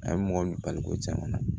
A ye mɔgɔ min bali ko cɛn kɔni na